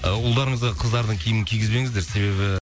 ы ұлдарыңызға кыздардың киімін кигізбеңіздер себебі